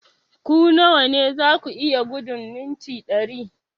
Ku nawa ne za ku iya gudun mita dari?